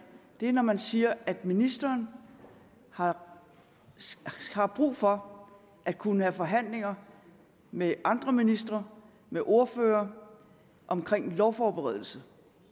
er når man siger at ministeren har har brug for at kunne have forhandlinger med andre ministre med ordførere om lovforberedelse